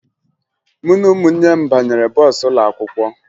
Mụ na ụmụnne m banyere bọọsụ ụlọakwụkwọ